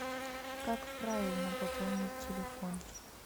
как правильно пополнить телефон